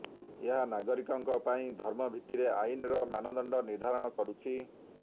ଏହା ନାଗରିକଙ୍କ ପାଇଁ ଧର୍ମ ଭିତ୍ତିରେ ଆଇନର ମାନଦଣ୍ଡ ନିର୍ଦ୍ଧାରଣ କରୁଛି